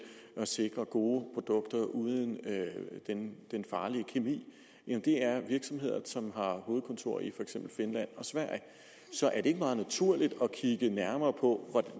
at sikre gode produkter uden den farlige kemi virksomheder som har hovedkontor i for eksempel finland og sverige så er det ikke meget naturligt at kigge nærmere på